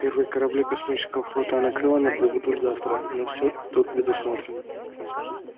первые корабли космического флота анакреона прибудут завтра но всё тут предусмотрено